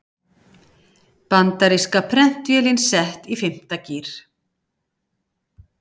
Bandaríska prentvélin sett í fimmta gír